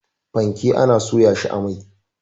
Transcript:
Fanke ana soya shi a mai.